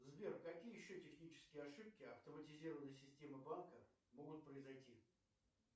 сбер какие еще технические ошибки автоматизированной системы банка могут произойти